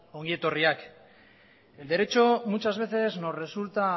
ongi etorriak el derecho muchas veces nos resulta